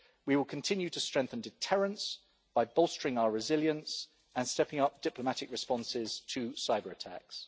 We will continue to strengthen deterrence by bolstering our resilience and stepping up diplomatic responses to cyber-attacks.